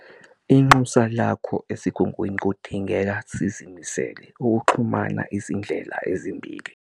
Inxusa lakho eSigungwini kudingeka sizimisele UKUXHUMANA - IZINDLELA EZIMBILI!